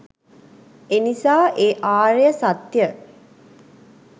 එනිසා ඒ ආර්ය සත්‍ය